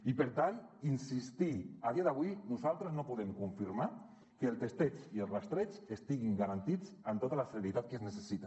i per tant insistir hi a dia d’avui nosaltres no podem confirmar que el testeig i el rastreig estiguin garantits amb tota la celeritat que es necessita